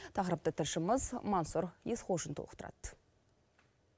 тақырыпты тілшіміз мансұр есқожин толықтырады